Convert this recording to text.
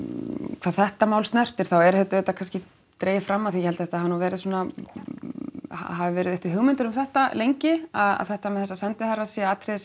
hvað þetta mál snertir þá er þetta auðvitað kannski dregið fram af því held að þetta hafi verið svona hafi verið uppi hugmyndir um þetta lengi að þetta með þessa sendiherra sé atriði sem